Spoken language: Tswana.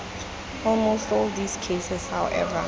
almost all these cases however